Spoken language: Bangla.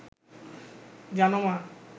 জানো মা